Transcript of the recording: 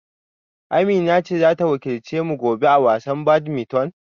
Amina ce za ta wakilce mu gobe a wasan badminton?